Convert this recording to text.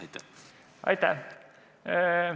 Aitäh!